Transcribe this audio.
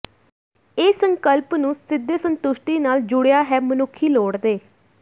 ਇਹ ਸੰਕਲਪ ਨੂੰ ਸਿੱਧੇ ਸੰਤੁਸ਼ਟੀ ਨਾਲ ਜੁੜਿਆ ਹੈ ਮਨੁੱਖੀ ਲੋੜ ਦੇ